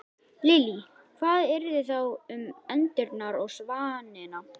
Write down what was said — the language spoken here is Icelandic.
Lillý: Hvað yrði þá um endurnar og svanina?